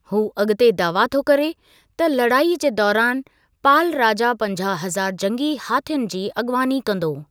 हू अगि॒ते दावा थो करे त लड़ाईअ जे दौरान, पाल राजा पंजाहु हज़ारु जंगी हाथियुनि जी अॻुवाणी कंदो।